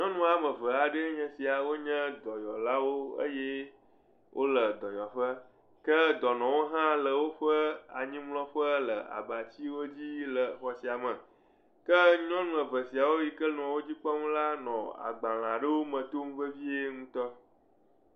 Nyɔnu woame eve aɖee nye esia wonye dɔyɔlawo eye wole dɔyɔƒe. Ke dɔnɔwo hã le woƒe anyimlɔƒe le abatsiwo dzi le xɔ sia me. Ke nyɔnu eve siawo yi ke nɔ wo dzi kpɔm la nɔ agbalẽ aɖewome tom vevie ŋutɔ.